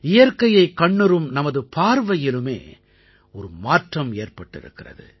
இயற்கையைக் கண்ணுறும் நமது பார்வையிலுமே ஒரு மாற்றம் ஏற்பட்டிருக்கிறது